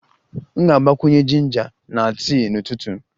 M ga-agbakwunye jinja na tii ụtụtụ m